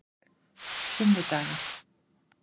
sunnudaga